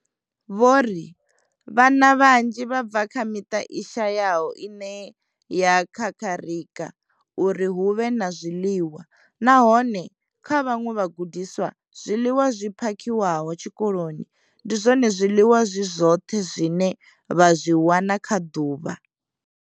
Vho ri vhana vhanzhi vha bva kha miṱa i shayaho ine ya kakarika uri hu vhe na zwiḽiwa, nahone kha vhaṅwe vhagudiswa, zwiḽiwa zwi phakhiwaho tshikoloni ndi zwone zwiḽiwa zwi zwoṱhe zwine vha zwi wana kha ḓuvha.